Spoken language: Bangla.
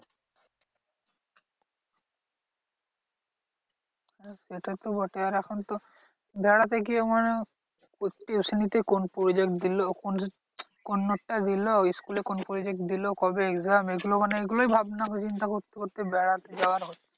সেটা তো বটে আর এখন তো বেড়াতে গিয়ে মানে tuition তে কোন project দিলো? কোন কোন note টা দিলো? school এ কোন project দিলো? কবে exam? এগুলো মানে এগুলোই ভাবনা চিন্তা করতে করতে বেড়াতে যাওয়া আর